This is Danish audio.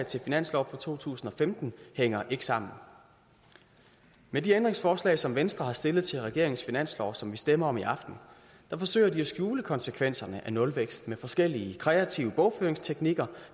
til finanslov for to tusind og femten hænger ikke sammen med de ændringsforslag som venstre har stillet til regeringens finanslov som vi stemmer om i aften forsøger de at skjule konsekvenserne af nulvækst med forskellige kreative bogføringsteknikker